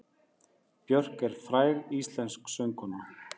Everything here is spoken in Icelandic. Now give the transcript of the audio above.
Björk er fræg íslensk söngkona.